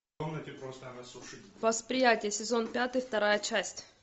восприятие сезон пятый вторая часть